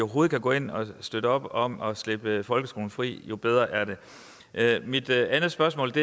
kan gå ind og støtte op om at slippe folkeskolen fri jo bedre er det mit andet spørgsmål